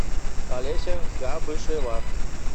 олеся габышева